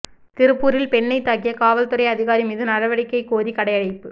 திருப்பூரில் பெண்ணைத் தாக்கிய காவல்துறை அதிகாரி மீது நடவடிக்கை கோரி கடையடைப்பு